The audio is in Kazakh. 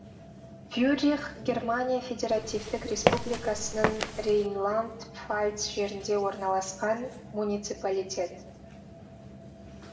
вюррих германия федеративтік республикасының рейнланд пфальц жерінде орналасқан муниципалитет